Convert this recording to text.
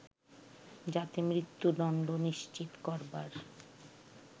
যাতে মৃত্যুদণ্ড নিশ্চিত করবার